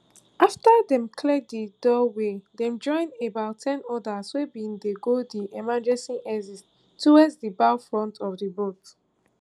afta dem clear di doorway dem join about ten odas wey bin dey go di emergency exit towards di bow front of di boat